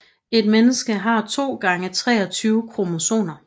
Et menneske har 2 gange 23 kromosomer